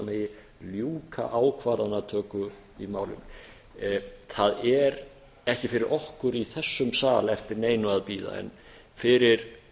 megi ljúka ákvarðanatöku í málinu það er fyrir okkur í þessum sal ekki eftir neinu að bíða en fyrir